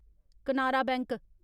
Canara bank